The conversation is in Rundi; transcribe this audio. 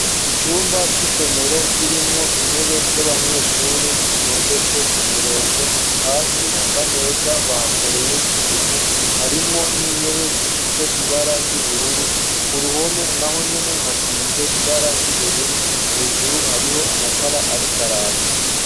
Icumba c'isomero kirimwo intebe z'abanyeshure zitondetse ku murongo, hasi hasa neza bahakoreye isuku, harimwo n'intebe zifise ibara ry'ubururu, ku ruhome naho nyene hasize ibara ry'ubururu, hejuru hariho amatara ariko araka.